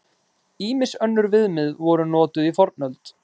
Ýmis önnur viðmið voru notuð í fornöld.